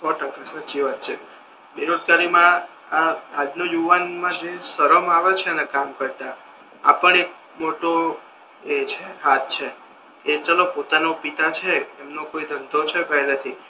સો ટકા સાચો વાત છે બેરોજગારી મા આજના યુવાન ને જે સરમ આવે છે ને કામ કરતા આપણ એક મોટો એ છે હાથ છે કે ચાલો પોતાના પિતા છે તેમનો કોઈ ધંધો છે પહલેથી